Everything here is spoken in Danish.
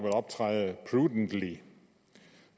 optræde prudently